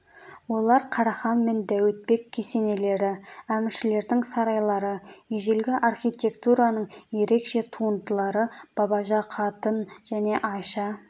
олар қарахан мен дәуітбек кесенелері әміршілердің сарайлары ежелгі архитектураның ерекше туындылары бабажы қатын және айша